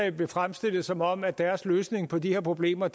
af blev fremstillet som om deres løsning på de her problemer